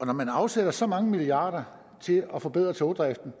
og når man afsætter så mange milliarder til at forbedre togdriften